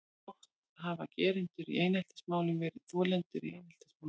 Oft hafa gerendur í eineltismálum verið þolendur í eineltismálum.